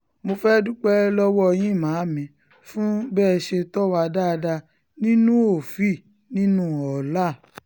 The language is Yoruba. mo fẹ́ẹ́ dúpẹ́ lọ́wọ́ yín màámi fún bẹ́ ẹ ṣe tó wà dáadáa nínú òfíì nínú ọ̀laa